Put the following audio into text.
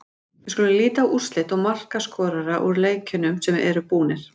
Við skulum líta á úrslit og markaskorara úr leikjunum sem eru búnir.